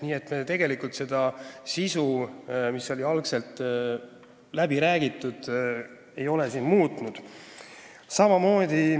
Nii et me tegelikult ei ole siin muutnud seda sisu, mis oli esialgu läbi räägitud.